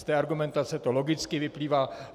Z té argumentace to logicky vyplývá.